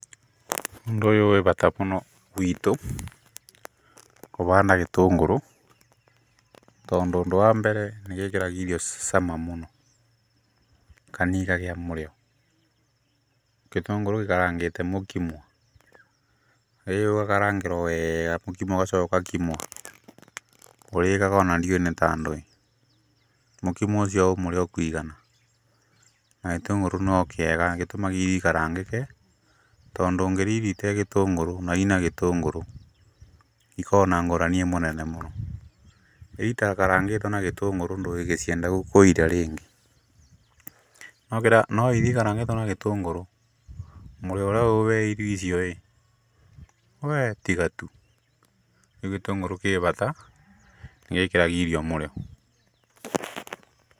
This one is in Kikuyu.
Ũndũ ũyũ wĩ bata mũno gwitũ kũbanda gĩtũngũrũ , tondũ ũndũ wa mbere nĩgĩkĩraga irio cama mũno kana ikagĩa mũrĩo. Gĩtũngũrũ gĩkarangĩte mũkimo ĩũgakarangĩrwo wega mũkimo ũgacoka ũgakimwo ũrĩĩraga ona ndiũwĩ nĩ ta ndwĩ. Mũkimo ũcio wĩ mũrĩo kũigana, na gĩtũngũrũ no kĩega nĩ gĩtũmaga irio ikarangĩke, tondũ ũngĩrĩa irio itarĩ gĩtũngũrũ na ina gĩtũngũrũ ikoragwo na ngũrani nene mũno. Irio itakarangĩtwo na gĩtũngũrũ ndũngĩcienda kũiria rĩngĩ. No iria ikarangĩtwo na gĩtũngũrũ mũrĩo ũrĩa wĩ irio icio ĩĩ we tiga tu. Rĩu gĩtũngũrũ kĩ bata nĩ gĩkĩraga irio mũrĩo.